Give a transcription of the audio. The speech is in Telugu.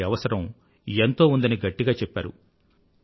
వాటి అవసరం ఎంతో ఉందని గట్టిగా చెప్పారు